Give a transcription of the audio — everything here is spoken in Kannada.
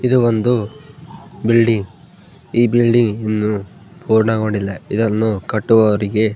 ಇದು ಒಂದು ಬಿಲ್ಡಿಂಗ್ ಈ ಬಿಲ್ಡಿಂಗ್ ಇನ್ನು ಪೂರ್ಣಗೊಂಡಿಲ್ಲ ಇದನ್ನು ಕಟ್ಟುವವರಿಗೆ --